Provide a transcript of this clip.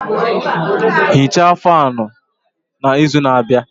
Hichaa fáan a n'izu na-abịa